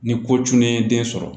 Ni ko cunnen den sɔrɔ